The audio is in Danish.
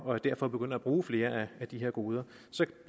og derfor begynder at bruge flere af de her goder så